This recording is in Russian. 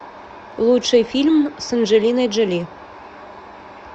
лучший фильм с анджелиной джоли